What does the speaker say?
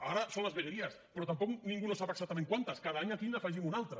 ara són les vegueries però tampoc ningú no sap exactament quantes cada any aquí n’afegim una altra